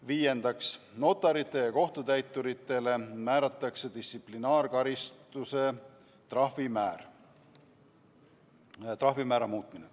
Viiendaks, notaritele ja kohtutäituritele määratava distsiplinaarkaristuse trahvimäära muutmine.